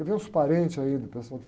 E veio uns parentes ainda, o pessoal.